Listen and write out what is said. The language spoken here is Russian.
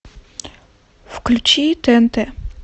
включи тнт